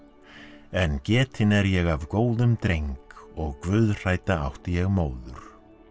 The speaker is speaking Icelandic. en getinn er ég af góðum dreng og átti ég móður